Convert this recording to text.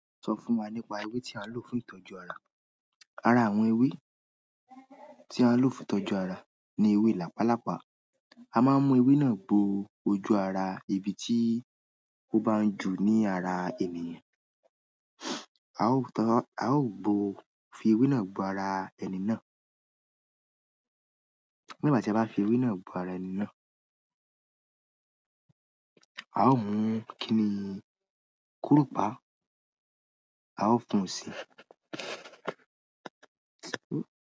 Sọ fún wa nípa ewé tí a ń lò fún ìtọ́jú ara. Ara àwọn ewé tí a ń lò fún ìtọ́jú ara ni ewé làpálàpá. A má ń mú ewé náà bo ojú ara ibi tí ó bá ń jù ní ara ènìyàn. A o tan, a o gbo, fi ewe na gbo ara ẹni na. Nígbà tí a bá fi ewé náà bo ara ẹni náà, a fún ni, ki pa, a o fún si.